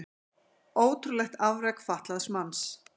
Ótrúlegt afrek fatlaðs manns